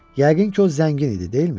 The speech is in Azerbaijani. Yəqin ki, o zəngin idi, deyilmi?